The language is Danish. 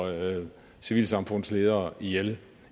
civilsamfundsledere ihjel